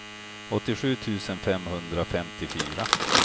åttiosju tusen femhundrafemtiofyra